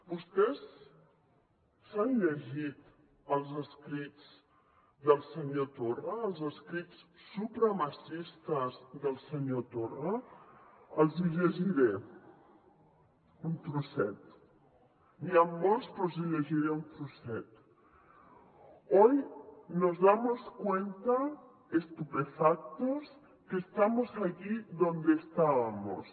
vostès s’han llegit els escrits del senyor torra els escrits supremacistes del senyor torra els hi llegiré un trosset n’hi han molts però els hi llegiré un trosset hoy nos damos cuenta estupefactos que estamos allí donde estábamos